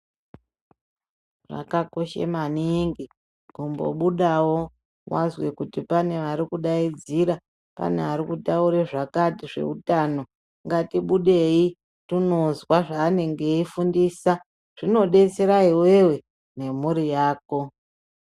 Zvakakoshe maningi kumbobudawo wazwe kuti pane arikudaidzira pane arikutaura zvakati zveutano. Ngatibudei tonozwa zvaanenge eifundisa zvinodetsera iwewe nemhuri yako.